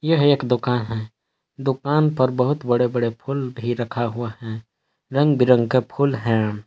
यह एक दुकान है दुकान पर बहुत बड़े बड़े फूल भी रखा हुआ हैं रंग बिरंगे फूल हैं।